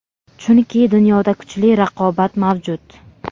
chunki dunyoda kuchli raqobat mavjud.